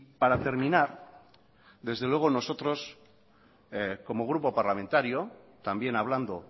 para terminar desde luego nosotros como grupo parlamentario también hablando